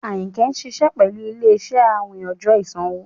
Ayínkẹ́ ṣiṣẹ̀ pẹ̀lú ilẹ̀-iṣẹ̀ àwìn ọjọ́ ìṣanwọ̀.